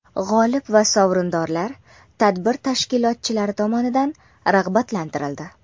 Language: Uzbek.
G‘olib va sovrindorlar tadbir tashkilotchilari tomonidan rag‘batlantirildi.